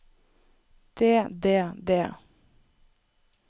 det det det